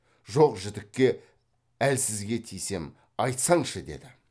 жоқ жітікке әлсізге тисем айтсаңшы деді